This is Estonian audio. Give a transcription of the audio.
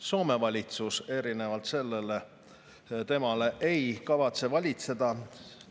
Soome valitsus erinevalt sellest ei kavatse.